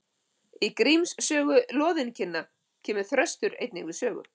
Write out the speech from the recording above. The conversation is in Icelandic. Í Gríms sögu loðinkinna kemur Þröstur einnig við sögu.